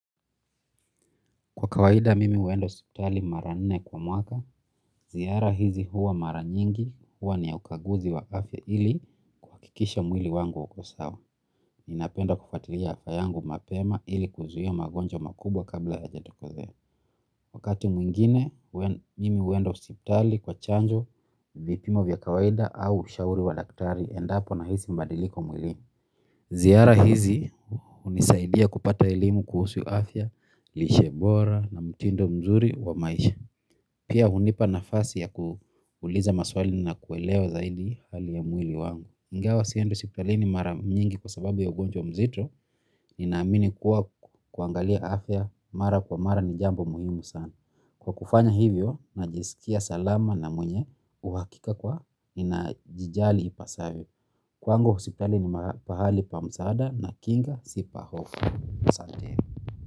Kwa kawaida mimi uenda osiptali mara nne kwa mwaka, ziara hizi huwa mara nyingi huwa ni ya ukaguzi wa afya ili kikisha mwili wangu ukosawa. Ninapenda kufuatiria fayangu mapema ili kuzuhia magonjo makubwa kabla ya jatokazea. Wakati mwingine mimi uenda osiptali kwa chanjo vipimo vya kawaida au ushauri wa daktari endapo na hizi mbadiliko mwili. Ziara hizi unisaidia kupata ilimu kuhusu afya, lishe bora na mtindo mzuri wa maisha. Kia hunipa nafasi ya kuliza maswali na kuelewa zaidi hali ya mwili wangu. Ngawa sieni osipitalini mara mnyengi kwa sababu ya ugonjwa mzito inaamini kuwa kuangalia afya mara kwa mara ni jambo muhimu sana. Kwa kufanya hivyo na jisikia salama na mwenye uhakika kwa inajijali ipasavyo. Kwangu, osipitali ni mahali pa msaada na kinga si pahofu. Sante.